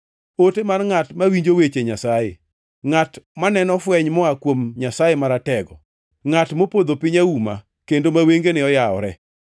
ote mar ngʼat mawinjo weche Nyasaye, ngʼat maneno fweny moa kuom Nyasaye Maratego, ngʼat mopodho piny auma, kendo ma wengene oyawore.